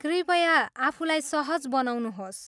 कृपया आफूलाई सहज बनाउनुहोस्।